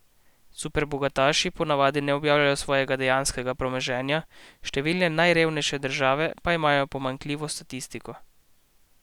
Superbogataši ponavadi ne objavljajo svojega dejanskega premoženja, številne najrevnejše države pa imajo pomanjkljivo statistiko.